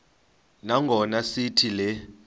nangona sithi le